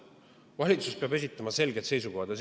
Valitsus peab esitama selged seisukohad.